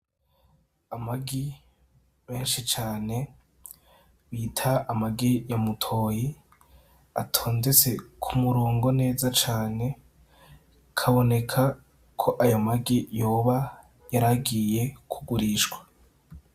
Amagi menshi cane bita amagi ya mutoyi, atondetse ku murongo neza cane bikaboneka ko aya magi yoba yaragiye kugurishwa.